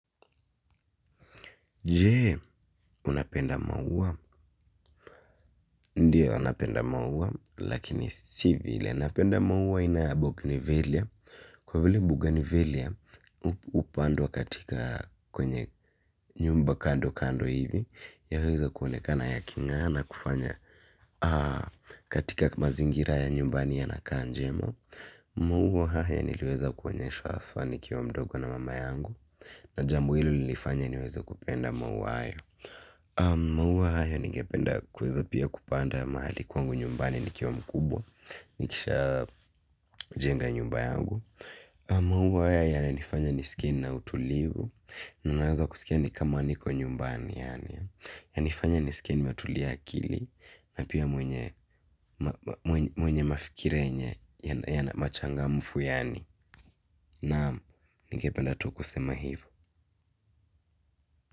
Jee, unapenda maua. Ndiyo anapenda maua, lakini sivile. Unapenda maua inaabokinivelia Kwavile buganivelia upandwa katika kwenye nyumba kando kando hivi yanaweza kuonekana ya kinga na kufanya katika mazingira ya nyumbani yanakaa njema. Maua haya niliweza kuonyeshwa haswa nikiwa mdogo na mama yangu. Na jambo hilo lilifanya niweze kupenda maua haya maua haya ningependa kuweza pia kupanda mahali kwangu nyumbani nikiwa mkubwa nikishajenga nyumba yangu maua haya yananifanya nisikie na utulivu. Ninaanza kusikia nikama niko nyumbani yaani yanifanya nisikie nmetulia akili na pia mwenye mafikira yenye yana machangamfu yani naam ningependa tu kusema hivyo.